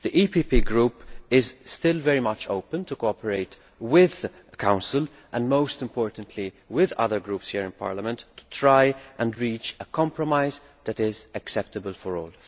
The EPP Group is still very much open to cooperating with the Council, and most importantly with other groups here in Parliament, to try and reach a compromise that is acceptable for all.